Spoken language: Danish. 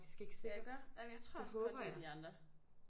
ja iggå? Jamen jeg tror også kun det er de andre